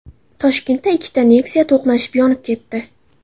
Toshkentda ikkita Nexia to‘qnashib, yonib ketdi .